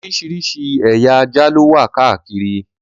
Oríṣiríṣi ẹ̀ya ajá ló wà káàkiri.